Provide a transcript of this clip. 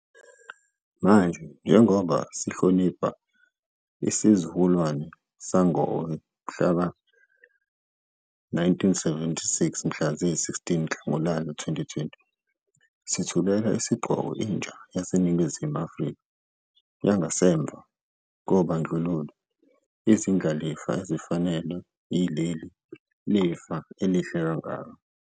Manje, njengoba sihlonipha isizukulwane sangowe-1976 mhla ziyi-16 Nhlangulana 2020, sithulela isigqoko intsha yaseNingizimu Afrika yangasemva kobandlululo, izindlalifa ezifanelwe yileli lifa elihle kangaka.